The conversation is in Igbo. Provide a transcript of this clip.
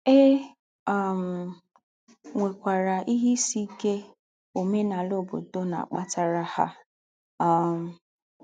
É um nwèkwàrà ìhè ìsì íké òmènàlà ǒbòdò na - àkpàtàrà hà. um